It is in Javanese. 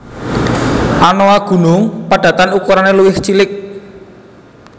Anoa gunung padatan ukurane luwih cilik